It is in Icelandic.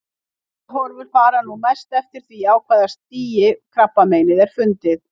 Batahorfur fara nú mest eftir því á hvaða stigi krabbameinið er fundið.